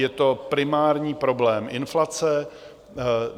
Je to primární problém inflace.